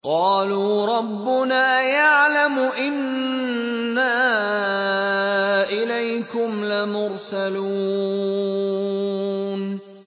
قَالُوا رَبُّنَا يَعْلَمُ إِنَّا إِلَيْكُمْ لَمُرْسَلُونَ